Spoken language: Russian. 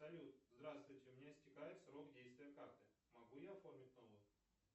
салют здравствуйте у меня истекает срок действия карты могу я оформить новую